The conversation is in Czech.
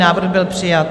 Návrh byl přijat.